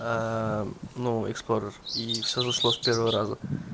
ээ ну эксплорер и все зашло с первого раза